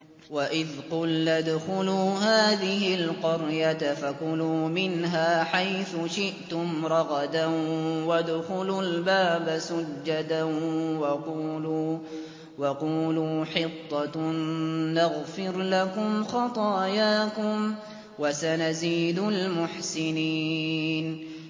وَإِذْ قُلْنَا ادْخُلُوا هَٰذِهِ الْقَرْيَةَ فَكُلُوا مِنْهَا حَيْثُ شِئْتُمْ رَغَدًا وَادْخُلُوا الْبَابَ سُجَّدًا وَقُولُوا حِطَّةٌ نَّغْفِرْ لَكُمْ خَطَايَاكُمْ ۚ وَسَنَزِيدُ الْمُحْسِنِينَ